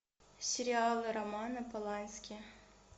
сериалы романа полански